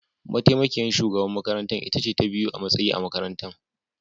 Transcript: Mataimakiyar shugaban makarantar ita ce ta biyu a matsayi a makaranta